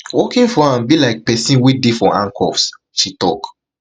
working for am be like pesin wey dey for handcuffs she tok